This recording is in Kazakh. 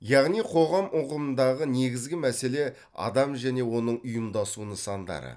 яғни қоғам ұғымындағы негізгі мәселе адам және оның ұйымдасу нысандары